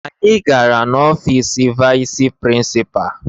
Anyị gara n'ọfiisi vayịs prịnsịpaa